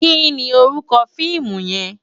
Ki ni órúkò fiimú yèn?